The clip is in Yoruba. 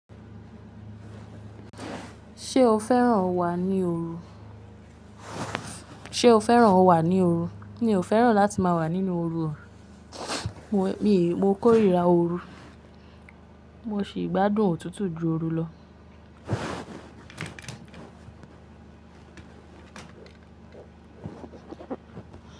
Sé o fẹ́ràn o wà ní òru? Mi ò fẹ́ràn láti máa wà nínú òru o. Mo kórìíra òru. Mo sì gbádùn òtútù ju òru lọ.